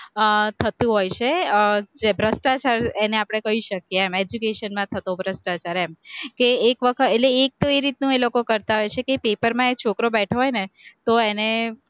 અહ થતું હોય છે, ભ્રષ્ટાચાર એને આપણે કહી શકીએ એમ, education માં થતો ભ્રષ્ટાચાર એમ, તે એક વખત એટલે એક એ રીતનું એ લોકો કરતા હોય છે કે paper માં એ છોકરો બેઠો હોય ને તો એને